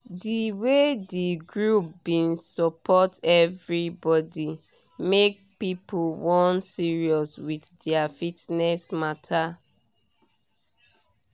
di way di group bin support everybody make people wan serious with their fitness mata